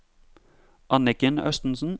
Anniken Østensen